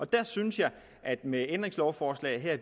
der synes jeg at vi med ændringslovforslaget her